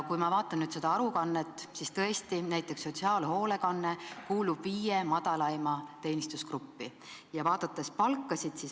Kui ma vaatan nüüd seda aruannet, siis näen, et näiteks sotsiaalhoolekanne kuulub viie madalaima palgaga teenistusgrupi hulka.